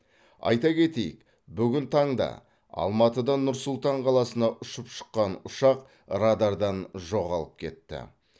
айта кетейік бүгін таңда алматыдан нұр сұлтан қаласына ұшып шыққан ұшақ радардан жоғалып кетті